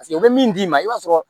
Paseke o bɛ min d'i ma i b'a sɔrɔ